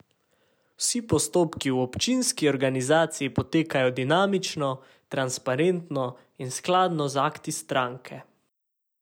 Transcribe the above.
Vsi postopki v občinski organizaciji potekajo demokratično, transparentno in skladno z akti stranke.